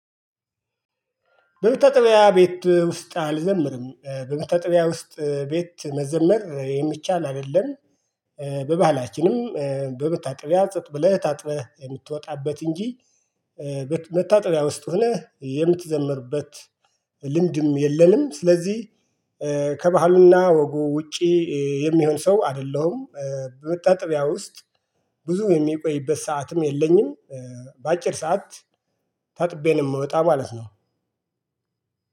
በመታጠብያ ቤት ውስጥ አልዘምርም በመታ ጠብያ ውስጥ ቤት መዘመር የሚቻል አይደለም። በባህላችንም በመታጠብያ ጸጥ ብለህ ታጥበህ የምትወጣበት እንጂ መታጠብያ ውስጥ ሆነህ የምትዘምርበት ልምድም የለንም። ስለዚህ ከባህሉና ወጉ ውጪ የሚሆን ሰው አይደለሁም። በመታጠብያ ውስጥ ብዙ የምቆይበት ሰዓትም የለኝም። በአጭር ሰዓት ታጥቤ ነው የምወጣ ማለት ነው።